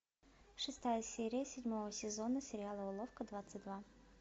шестая серия седьмого сезона сериала уловка двадцать два